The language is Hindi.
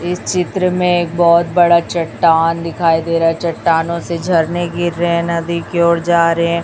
इस चित्र में एक बहोत बड़ा चट्टान दिखाई दे रहा है चट्टानों से झरने गिर रहे है नदी की ओर जा रहे हैं।